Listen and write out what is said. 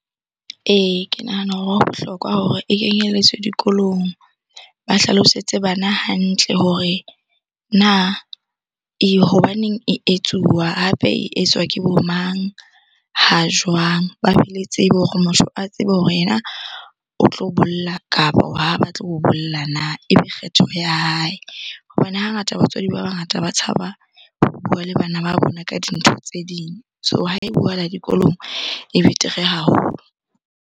Ee, ke nahana hore ho bohlokwa hore e kenyelletswe dikolong. Ba hlalosetse bana hantle hore na hobaneng e etsuwa? Hape e etswa ke bo mang? Ha jwang? Ba be le tsebe hore motho a tsebe hore yena o tlo bolla kapo ha batle ho bolla na? Ebe kgetho ya hae hobane hangata batswadi ba bangata ba tshaba ho bua le bana ba bona ka dintho tse ding. So ha e buahala dikolong e betere haholo.